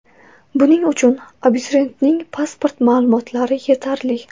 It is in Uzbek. Buning uchun abituriyentning pasport ma’lumotlari yetarli.